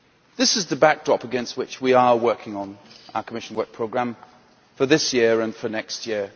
This is the backdrop against which we are working on our Commission Work Programme for this year and for next year.